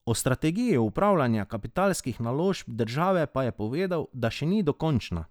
O strategiji upravljanja kapitalskih naložb države pa je povedal, da še ni dokončna.